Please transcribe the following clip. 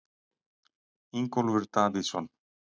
Ingólfur Davíðsson.